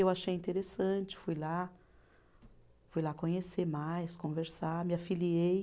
Eu achei interessante, fui lá, fui lá conhecer mais, conversar, me afiliei.